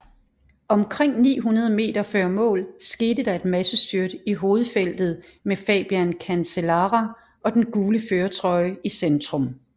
Omkring 900 meter før mål skete der et massestyrt i hovedfeltet med Fabian Cancellara og den gule førertrøje i centrum